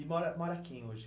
E mora mora quem hoje?